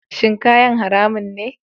Shin kayan haramun ne?